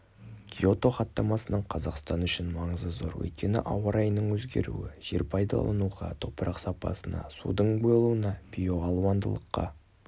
киото хаттамасының қазақстан үшін маңызы зор өйткені ауа райының өзгеруі жер пайдалануға топырақ сапасына судың болуына биоалуандылыққа